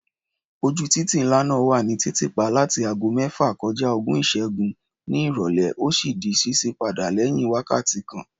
Ojú títì ńlá náà wà ní títì pa láti ago mẹ́fà kọja ogún ìṣẹ́gún ní ìrọ̀lẹ́, ó sì di ṣíṣí padà lẹ́yìn wákàtí kan.